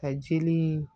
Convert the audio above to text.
Ka jeli in